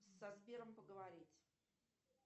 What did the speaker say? со сбером поговорить